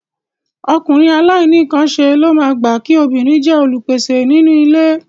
Ọkùnrin àìnínǹkanṣe ló máa gbà kí obìnrin jẹ́ olùpèsè nínú ilé